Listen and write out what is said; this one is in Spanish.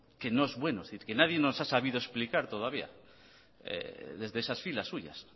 que no es bueno es decir que nadie nos ha sabido explicar desde esas filas suyas